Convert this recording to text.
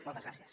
moltes gràcies